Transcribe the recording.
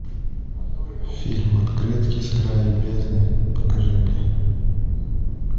фильм открытки с края бездны покажи мне